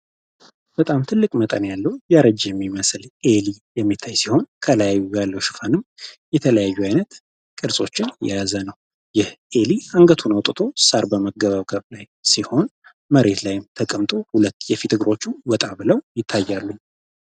በጣም ትልቅ መጠን ያለው ያረጅ የሚመስል ኤሊ የሚታይውን ከላይ ያለው ሽፋንም የተለያዩ አይነት ቅርሶችን የያዘ ነው ሲሆን መሬት ላይ ተቀምጦ ወጣ ብለው ይታያሉ